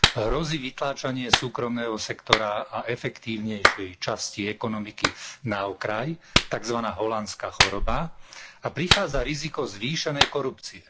Hrozí vytláčanie súkromného sektora a efektívnejšej časti ekonomiky na okraj, takzvaná holandská choroba, a prichádza riziko zvýšenej korupcie.